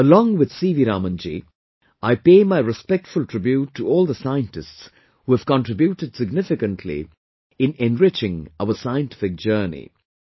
Along with CV Raman ji, I pay my respectful tribute to all the scientists who have contributed significantly in enriching our scientific journey